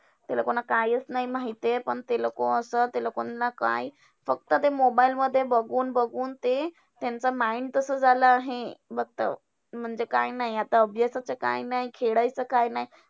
त्याला कोण कायचं नाही माहिती आहे. पण ते लोकं असा ते लोकांना काय फक्त ते mobile मध्ये बघून बघून ते त्यांचं mind तसं झालं आहे. फक्त म्हणजे काय नाय, आता अभ्यासाचं काय नाय, खेळायचं काय नाय.